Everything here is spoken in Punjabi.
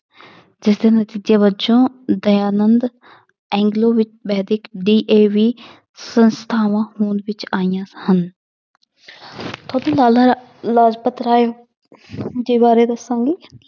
ਜਿਸਦੇ ਨਤੀਜੇ ਵਜੋਂ ਦਯਾਨੰਦ ਐਗਲੋ ਵੈਦਿਕ DAV ਸੰਸਥਾਵਾਂ ਹੋਂਦ ਵਿੱਚ ਆਈਆਂ ਹਨ ਲਾਲਾ ਲਾਜਪਤ ਰਾਏ ਜੀ ਬਾਰੇ ਦੱਸਾਂਗੀ